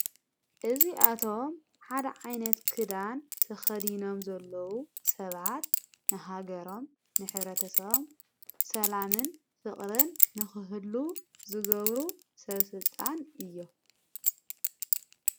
እዙ ኣቶም ሓደ ዓይነት ክዳን ተኸዲኖም ዘለዉ ሰብዓት ንሃገሮም ንኅብረተሰም ሰላምን ፍቕርን ንኽህሉ ዘገብሩ ሠብ ሥልጣን እዮም።